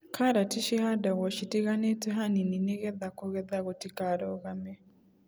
Karati cihandagwo citiganĩte hanini nĩgetha kũgetha gũtikarũgame.